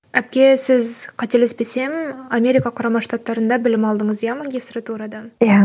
әпке сіз қателеспесем америка құрама штааттарында білім алдыңыз иә магистратурада иә